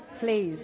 Keller,